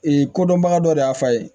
Ee kodɔnbaga dɔ de y'a fa ye